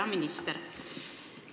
Hea minister!